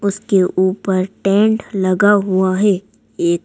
उसके ऊपर टेंट लगा हुआ है एक--